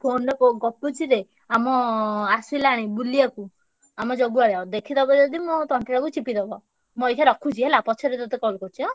Phone ରେ କୋ ଗପୁଛି ରେ ଆମ ଆସିଲାଣି ବୁଲିଆକୁ ଆମ ଜଗୁଆଳ ଦେଖିଦବ ଯଦି ମୋ ତଣ୍ଟି ଟାକୁ ଚିପିଦବ। ମୁଁ ଅଇଖା ରଖୁଛି ହେଲା ପଛରେ ତତେ call କରୁଚି ଆଁ।